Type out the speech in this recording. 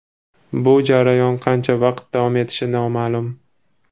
Bu jarayon qancha vaqt davom etishi noma’lum.